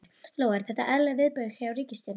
Lóa: Eru þetta eðlileg viðbrögð hjá ríkisstjórninni?